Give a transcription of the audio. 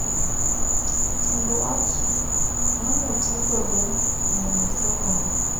Tiend wach manotii godo e nono somo no